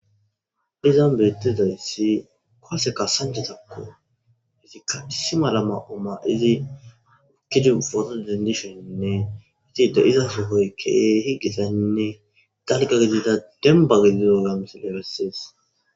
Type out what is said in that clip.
Izon beettezayssi koaseka sanjezakko izikka isi malama oma izi okkidi fota dindishoninne izide izasohoykkee higisainne dalga gidida dembagidizo lamsileressees.